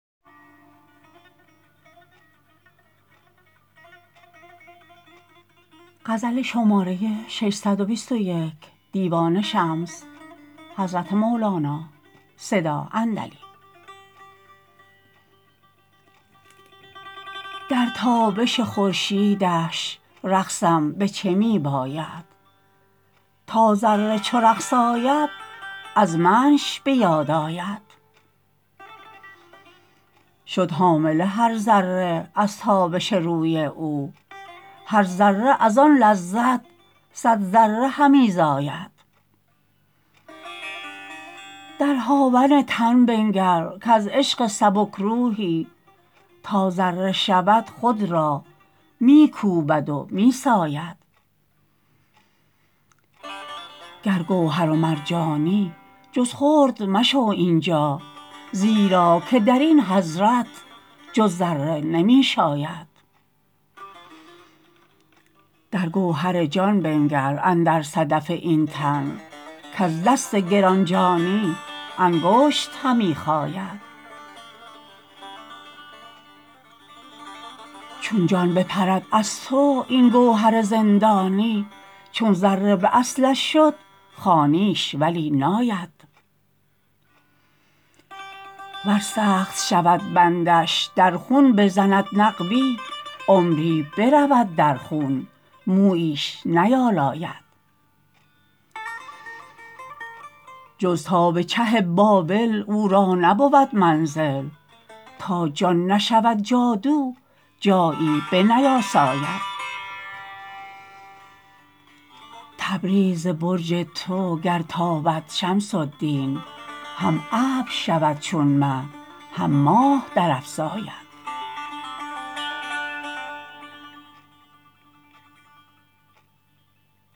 در تابش خورشیدش رقصم به چه می باید تا ذره چو رقص آید از منش به یاد آید شد حامله هر ذره از تابش روی او هر ذره از آن لذت صد ذره همی زاید در هاون تن بنگر کز عشق سبک روحی تا ذره شود خود را می کوبد و می ساید گر گوهر و مرجانی جز خرد مشو این جا زیرا که در این حضرت جز ذره نمی شاید در گوهر جان بنگر اندر صدف این تن کز دست گران جانی انگشت همی خاید چون جان بپرد از تو این گوهر زندانی چون ذره به اصلش شد خوانیش ولی ناید ور سخت شود بندش در خون بزند نقبی عمری برود در خون موییش نیالاید جز تا به چه بابل او را نبود منزل تا جان نشود جادو جایی بنیاساید تبریز ز برج تو گر تابد شمس الدین هم ابر شود چون مه هم ماه درافزاید